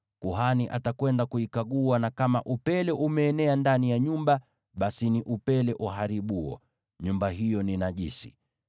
kuhani atakwenda kuikagua, na kama upele umeenea ndani ya nyumba, basi ni upele uharibuo; nyumba hiyo ni najisi.